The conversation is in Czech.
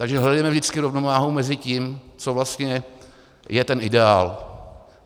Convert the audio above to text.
Takže hledejme vždycky rovnováhu mezi tím, co vlastně je ten ideál.